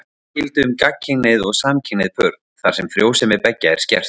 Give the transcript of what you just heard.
Sama gildi um gagnkynhneigð og samkynhneigð pör, þar sem frjósemi beggja er skert.